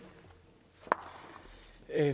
er